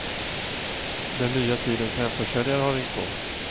Den nya tidens hemförsäljare har ringt på.